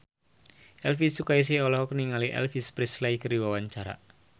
Elvy Sukaesih olohok ningali Elvis Presley keur diwawancara